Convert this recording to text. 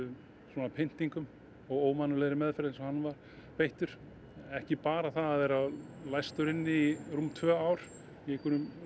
svona pyntingum og ómannúðlegri meðferð eins og hann var beittur ekki bara það að vera læstur inni í tvö ár í